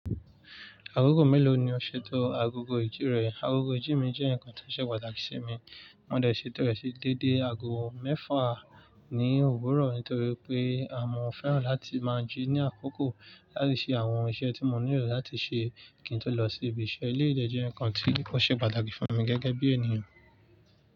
Akoko mélòó ni o ṣètò agogo ìjírẹ̀? Agogo ìjí mi jẹ́ ǹkan tó ṣe pàtàkì sí mi. Mo dẹ̀ ṣètò rẹ̀ sí déédé agogo mẹ́fà ní òwúrọ̀ nítorí pé mọ́ fẹ́ràn láti máa jí ní àkókò láti ṣe àwọn iṣẹ́ tí mo nílò láti ṣe kí n tó lọ sí ibi iṣẹ́. Eleyi de jẹ́ ǹkan ti ò ṣe pàtàkì fún mi gẹ́gẹ́ bí ènìyàn.